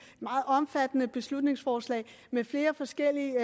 meget omfattende beslutningsforslag med flere forskellige